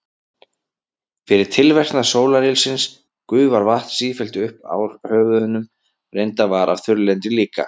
Fyrir tilverknað sólarylsins gufar vatn sífellt upp úr höfunum og reyndar af þurrlendi líka.